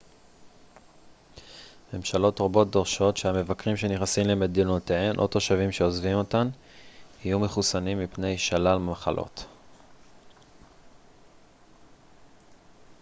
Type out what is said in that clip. ממשלות רבות דורשות שהמבקרים שנכנסים למדינותיהם או תושבים שעוזבים אותן יהיו מחוסנים מפני שלל מחלות